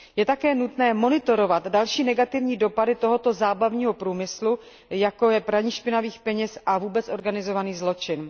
Je také nutné monitorovat další negativní dopady tohoto zábavního průmyslu, jako je praní špinavých peněz a vůbec organizovaný zločin.